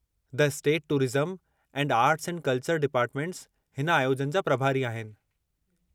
The state tourism and arts and culture departments हिन आयोजन जा प्रभारी आहिनि।